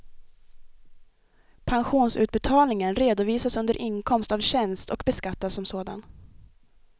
Pensionsutbetalningen redovisas under inkomst av tjänst och beskattas som sådan.